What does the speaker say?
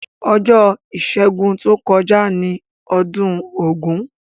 Ojó ìsẹ́gun to kojá ni odún ògún